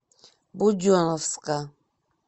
буденновска